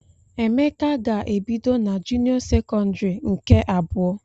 Emeka ga-ebido n'junio sekondari nke abụọ.